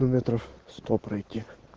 ну метров сто пройти